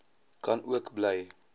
kan ook by